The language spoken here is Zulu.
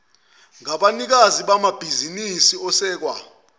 ngabanikazi bamabhizinisi asekwa